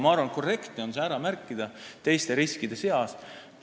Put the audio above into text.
Ma arvan, et korrektne on see ära märkida teiste riskide seas.